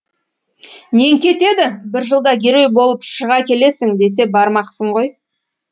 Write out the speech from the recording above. нең кетеді бір жылда герой болып шыға келесің десе бармақсың ғой